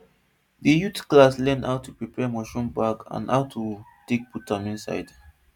the youth class learn how to prepare mushroom bag and how to take put am inside